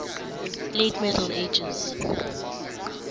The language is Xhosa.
late middle ages